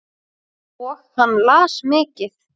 Og hann las mikið.